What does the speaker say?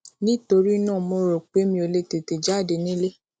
nítorí náà mo rò pé mi ò lè tètè jáde nílé